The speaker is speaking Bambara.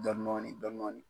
dɔn nɔɔni dɔn nɔɔni